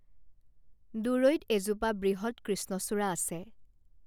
দূৰৈত এজোপা বৃহৎ কৃষ্ণচূড়া আছে